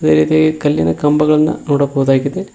ಅದೇ ರೀತಿ ಕಲ್ಲಿನ ಕಂಬಗಳನ್ನು ನೋಡಬಹುದಾಗಿದೆ.